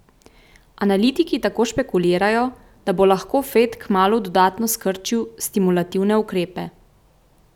Analitiki tako špekulirajo, da bi lahko Fed kmalu dodatno skrčil stimulativne ukrepe.